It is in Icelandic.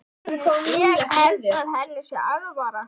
Ég held að henni sé alvara.